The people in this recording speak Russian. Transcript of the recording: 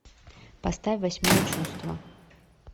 поставь восьмое чувство